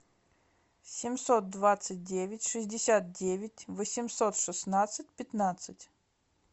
семьсот двадцать девять шестьдесят девять восемьсот шестнадцать пятнадцать